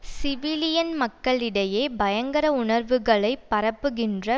civilian மக்களிடையே பயங்கர உணர்வுகளை பரப்புகின்ற